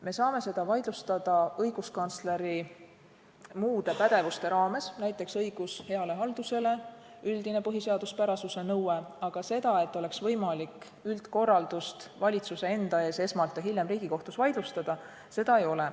Me saame seda vaidlustada õiguskantsleri muude pädevuste raames, näiteks õigus heale haldusele, saame jälgida üldist põhiseaduspärasuse nõuet, aga seda, et oleks võimalik üldkorraldust esmalt valitsuse enda ees ja hiljem Riigikohtus vaidlustada, ei ole.